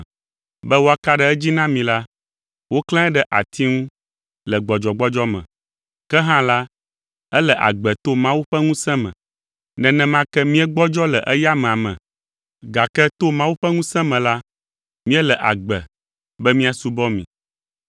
Be woaka ɖe edzi na mi la, woklãe ɖe ati ŋu le gbɔdzɔgbɔdzɔ me, ke hã la, ele agbe to Mawu ƒe ŋusẽ me. Nenema ke míegbɔdzɔ le eya amea me, gake to Mawu ƒe ŋusẽ me la, míele agbe be míasubɔ mi.